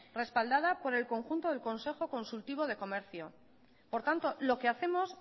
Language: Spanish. respaldada por el conjunto del consejo consultivo de comercio por tanto lo que hacemos